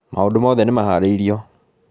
Maũndũ mothe nĩ maharĩirio